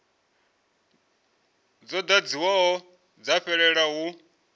dzo ḓadziwaho dza fhelela hu